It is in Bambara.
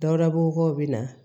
Dawurabow be na